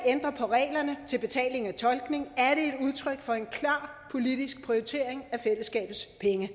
ændrer på reglerne til betaling af tolkning er det et udtryk for en klar politisk prioritering af fællesskabets penge